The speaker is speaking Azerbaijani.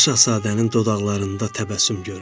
Balaca Şahzadənin dodaqlarında təbəssüm göründü.